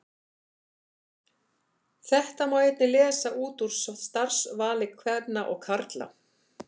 Þetta má einnig lesa út úr starfsvali kvenna og karla.